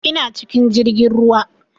Ina cikin jirgin ruwa